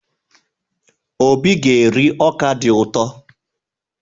Obi ga-eri ọka dị ụtọ.